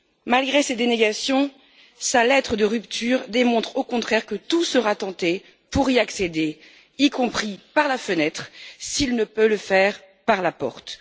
Malgré ces dénégations, sa lettre de rupture démontre au contraire que tout sera tenté pour y accéder, y compris par la fenêtre, si c'est impossible par la porte.